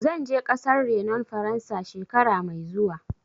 Zan je ƙasar renon Faransa, shekara mai zuwa.